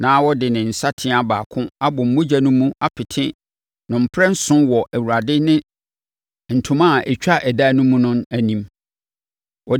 na ɔde ne nsateaa baako abɔ mogya no mu apete no mprɛnson wɔ Awurade ne ntoma a ɛtwa ɛdan no mu no anim.